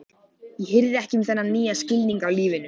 Ég hirði ekki um þennan nýja skilning á lífinu.